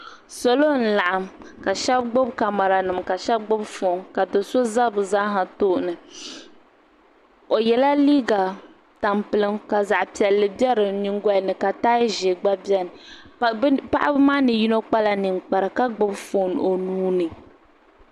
Salo n laɣim ka shɛbi gbubi kamaranima ka shɛbi gbubi fɔɔn ka do so za bɛ zaaha tooni o yɛla liiga tampilim ka zaɣ piɛlli be di nyingɔli ni ka taya ʒɛɛ gba beni paɣaba maa ni yino kpala ninkpara ka gbubi fɔɔn o nuu ni.